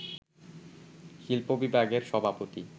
শিল্প-বিভাগের সভাপতি